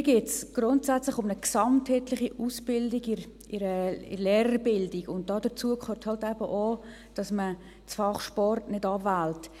Mir geht es grundsätzlich um eine gesamtheitliche Ausbildung in der Lehrerbildung, und dazu gehört halt eben auch, dass man das Fach Sport nicht abwählt.